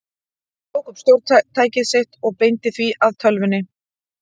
Hann tók upp stjórntækið sitt og beindi því að tölvunni.